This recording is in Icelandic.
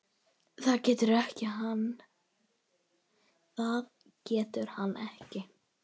Það getur hann ekki.